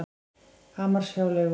Hamarshjáleigu